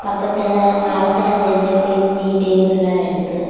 பக்கத்துல மரத்துல செஞ்ச பெஞ்சு டேபிள்லாம் இருக்கு.